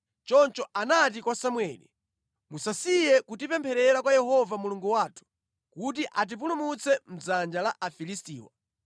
Choncho anati kwa Samueli, “Musasiye kutipempherera kwa Yehova Mulungu wathu, kuti atipulumutse mʼdzanja la Afilistiwa.”